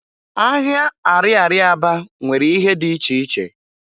Ahịa ariaria Aba nwere ihe di iche iche.